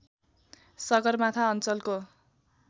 सगरमाथा अञ्चलको